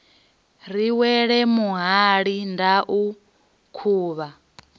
ri wele muhali ndau khuvha